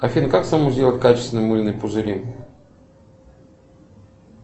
афина как самому сделать качественные мыльные пузыри